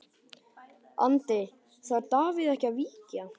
Andri: Þarf Davíð ekki að víkja?